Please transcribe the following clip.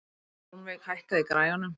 Hjálmveig, hækkaðu í græjunum.